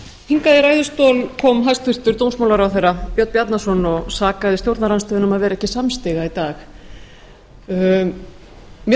hingað í ræðustól kom hæstvirtur dómsmálaráðherra björn bjarnason og sakaði stjórnarandstöðuna um að vera ekki samstiga í dag mér